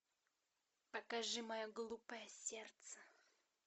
покажи мое глупое сердце